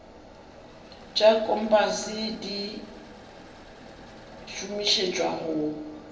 tša kompase di šomišetšwa go